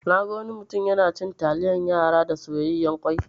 Naga wani mutum yana cin taliyan yara da soyayyan kwai.